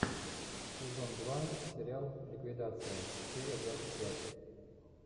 сезон два сериал ликвидация серия двадцать пять